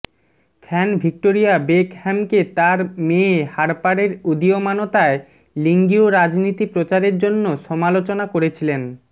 fan Victoria বেকহ্যামকে তার মেয়ে হার্পারের উদীয়মানতায় লিঙ্গীয় রীতিনীতি প্রচারের জন্য সমালোচনা করেছিলেন